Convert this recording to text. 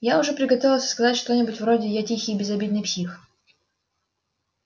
я уже приготовился сказать что-нибудь вроде я тихий безобидный псих